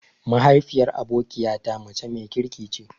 Mahaifiyar abokiya ta mace mai kirki ce.